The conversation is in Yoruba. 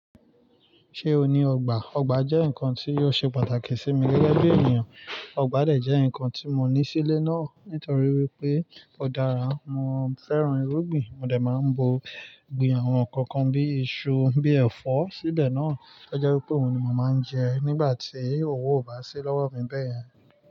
Ṣé o ní ọgbà? Ọgbà jẹ́ nǹkan tí yóò ṣe pàtàkì sí mi gẹ́gẹ́ bí ènìyàn. Ọgbà dẹ̀ jẹ́ ǹkan tí mo ní sílé náà nítorí wípé ó dára, mo fẹ́ràn irúgbìn mo dẹ̀ máa ń bu gbin àwọn ǹkan kan bí i iṣu, bíi ẹ̀fọ́ síbẹ̀ náà. Ó jẹ́ wípé òun ni mo máa ń jẹ nígbà tí òwò ò bá sí lọ́wọ́ mi bẹ́ẹ̀yẹn.